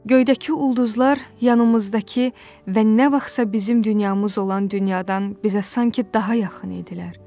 Göydəki ulduzlar yanımızdakı və nə vaxtsa bizim dünyamız olan dünyadan bizə sanki daha yaxın idilər.